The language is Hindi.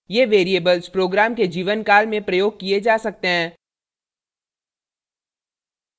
* ये variables program के जीवनकाल में प्रयोग किये जा सकते हैं